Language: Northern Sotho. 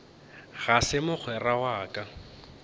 ga se mogwera wa ka